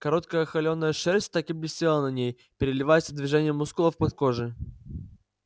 короткая холеная шерсть так и блестела на ней переливаясь от движения мускулов под кожей